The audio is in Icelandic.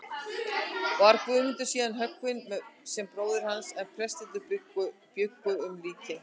Var Guðmundur síðan höggvinn sem bróðir hans, en prestarnir bjuggu um líkin.